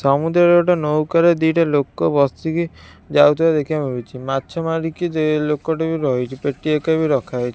ସମୁଦ୍ରରେ ଗୋଟେ ନୌକରେ ଦିଟା ଲୋକ ବସିକି ଯାଉଥୁବାର ଦେଖିବାକୁ ମିଳୁଚି ମାଛ ମାରିକି ଯେ ଲୋକଟି ବି ରହିଚି ପେଟିୟେକା ବି ରଖାହେଇ--